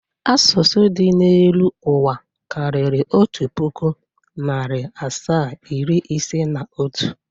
Asụsụ dị n'elu ụwa karịrị otu pụkụ, narị asaa, iri ise na otu.